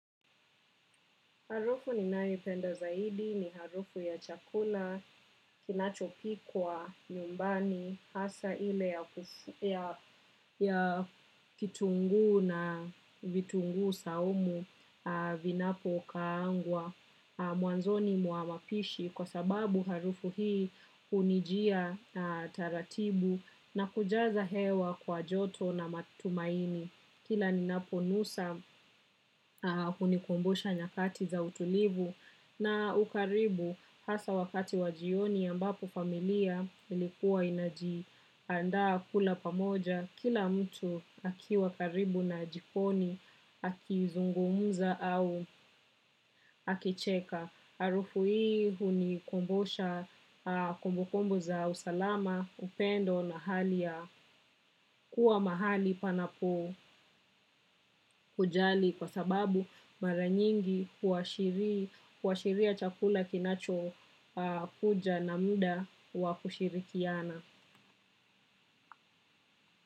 Harufu ninayoipenda zaidi ni harufu ya chakula kinachopikwa nyumbani hasa ile ya ya kitungu na vitungu saumu vinapo kaangwa mwanzoni mwa mapishi kwa sababu harufu hii hunijia taratibu na kujaza hewa kwa joto na matumaini. Kila ni napo nusa hunikombusha nyakati za utulivu na ukaribu hasa wakati wa jioni ambapo familia ilikuwa inaji andaa kula pamoja kila mtu akiwa karibu na jikoni akizungumza au akicheka harufu hii hunikumbusha kumbukumbu za usalama upendo na kuwa mahali panapo hujali kwasababu mara nyingi huashiri huashiria ya chakula kinacho kuja na muda wa kushirikiana.